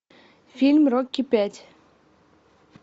фильм рокки пять